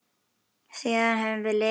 Síðan höfum við lifað í ævintýri.